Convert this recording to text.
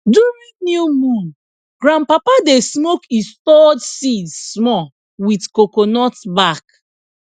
during new moon grandpapa dey smoke e stored seed small with coconut back